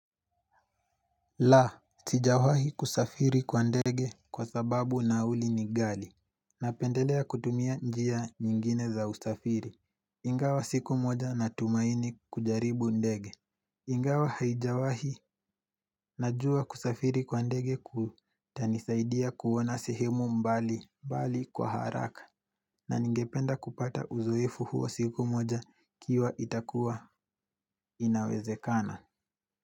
La, sijawahi kusafiri kwa ndege kwa sababu nauli ni ghali Napendelea kutumia njia nyingine za usafiri Ingawa siku moja natumaini kujaribu ndege Ingawa haijawahi najua kusafiri kwa ndege kutanisaidia kuona sehemu mbalimbali kwa haraka na ningependa kupata uzoefu huo siku moja ikiwa itakuwa inawezekana.